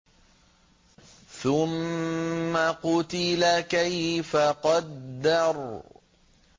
ثُمَّ قُتِلَ كَيْفَ قَدَّرَ